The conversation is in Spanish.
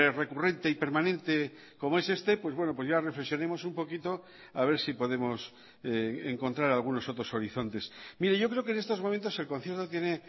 recurrente y permanente como es este pues bueno pues ya reflexionemos un poquito a ver si podemos encontrar algunos otros horizontes mire yo creo que en estos momentos el concierto tiene